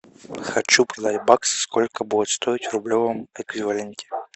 хочу продать бакс сколько будет стоить в рублевом эквиваленте